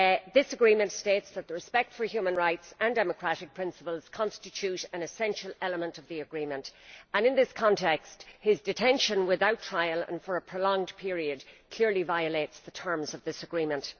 This Agreement states that respect for human rights and democratic principles constitutes an essential element of the Agreement and in this context his detention without trial and for a prolonged period clearly violates the terms of this Agreement.